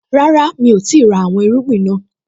Rárá, mi ò tíì ra àwọn irúgbìn naa